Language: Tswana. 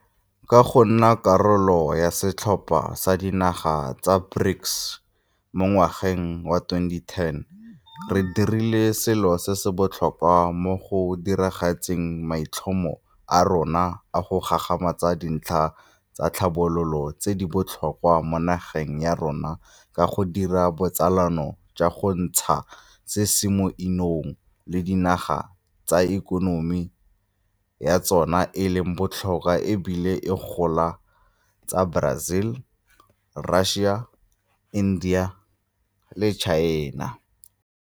Ka go nna karolo ya setlhopha sa dinaga tsa BRICS mo ngwageng wa 2010 re dirile selo se se botlhokwa mo go diragatseng maitlhomo a rona a go gagamatsa dintlha tsa tlhabologo tse di botlhokwa mo nageng ya rona ka go dira botsalano jwa go ntshana se se mo 'inong le dinaga tse ikonomi ya tsona e leng botlhokwa e bile e gola tsa Brazil, Russia, India le China.